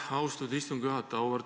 Aitäh, austatud istungi juhataja!